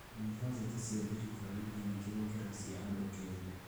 Yunibathĩtĩ cia thirikari nĩ nyingĩ gũkĩra cia andũ kĩũmbe